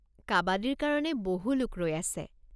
কাবাদীৰ কাৰণে বহু লোক ৰৈ আছে।